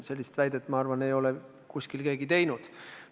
Sellist väidet, ma arvan, ei ole kuskil keegi esitanud.